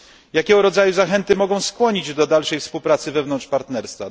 Jakiego rodzaju zachęty mogą skłonić do dalszej współpracy wewnątrz partnerstwa?